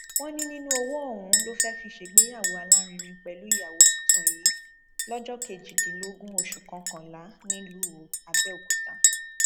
wọn ní nínú owó ọhún ló fẹẹ fi ṣègbéyàwó alárinrin pẹlú ìyàwó tuntun yìí lọjọ kejìdínlógún oṣù kọkànlá nílùú àbẹòkúta